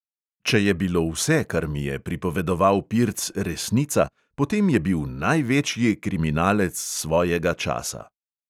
Če je bilo vse, kar mi je pripovedoval pirc, resnica, potem je bil največji kriminalec svojega časa.